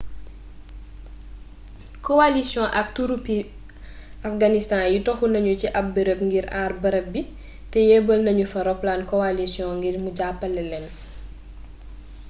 kowalisiyon ak turupi afganistaan yi toxu nañu ci ab barab ngir àar barab bi te yebbal nañu fa roplaanu kowalisiyon ngir mu jàppale leen